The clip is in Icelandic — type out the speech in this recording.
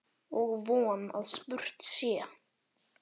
Og von að spurt sé.